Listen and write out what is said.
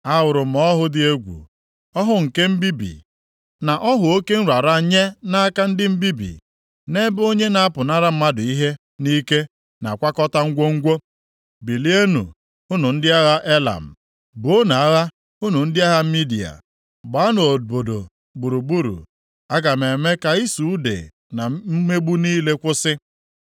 Ahụrụ m ọhụ dị egwu, ọhụ oke mbibi, na ọhụ oke nrara nye nʼaka ndị mbibi, nʼebe onye na-apụnara mmadụ ihe nʼike na-akwakọta ngwongwo. Bilienụ unu ndị agha Elam, buonu agha! Unu ndị agha Midia, gbaanụ obodo gburugburu! Aga m eme ka ịsụ ude na mmegbu niile kwụsị.